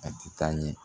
A ti taa ɲɛ